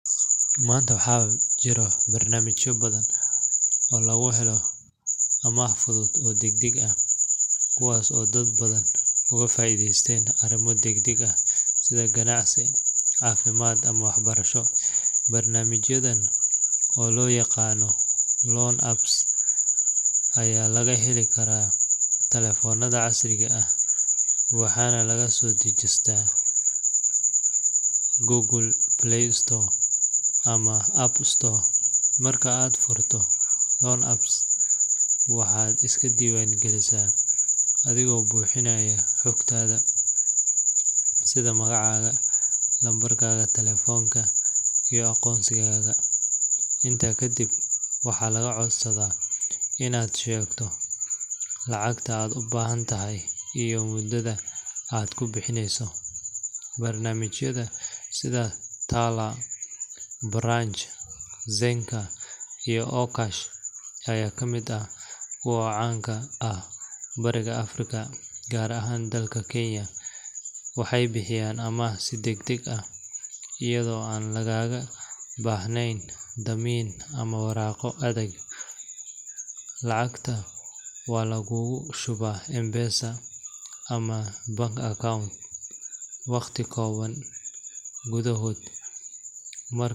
Maanta, waxaa jira barnaamijyo badan oo lagu helo amaah fudud oo degdeg ah, kuwaas oo dad badan uga faa’iideystaan arrimo degdeg ah sida ganacsi, caafimaad ama waxbarasho. Barnaamijyadan, oo loo yaqaan loan apps, ayaa laga heli karaa taleefannada casriga ah waxaana laga soo dejisan karaa Google Play Store ama App Store. Marka aad furto loan app, waxaad iska diiwaangelisaa adiga oo buuxinaya xogtaada sida magacaaga, lambarka taleefanka, iyo aqoonsigaaga. Intaa kadib, waxaa lagaa codsadaa inaad sheegto lacagta aad u baahan tahay iyo muddada aad ku bixinayso. Barnaamijyada sida Tala, Branch, Zenka, iyo Okash ayaa kamid ah kuwa caan ka ah bariga Afrika, gaar ahaan dalka Kenya. Waxay bixiyaan amaah si degdeg ah iyadoo aan lagaaga baahnayn dammiin ama waraaqo adag. Lacagta waxaa laguugu shubaa M-Pesa ama bank account waqti kooban gudaheed, mararka.